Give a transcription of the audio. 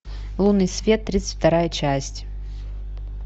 лунный свет тридцать вторая часть